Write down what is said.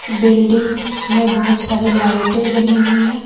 Building में बहुत सारी लाइटें जली हुई है।